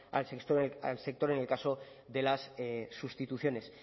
al sector en el caso de las sustituciones